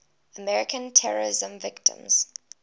american terrorism victims